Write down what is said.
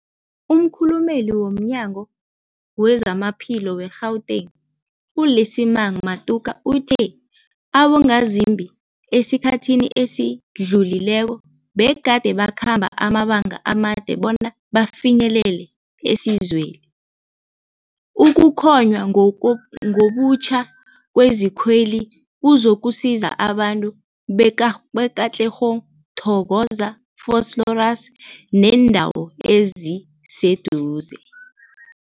Umkhulumeli womNyango weZamaphilo we-Gauteng, u-Lesemang Matuka uthe abongazimbi esikhathini esidlulileko begade bakhamba amabanga amade bona bafinyelele isizweli. Ukuhlonywa ngobutjha kwezikweli kuzokusiza abantu be-Ka be-Katlehong, Thokoza, Vosloorus nebeendawo eziseduze.